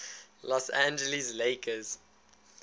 los angeles lakers